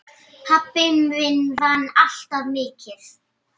Pabbi minn vann alltaf mikið.